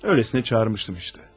Elə belə çağırmışdım da.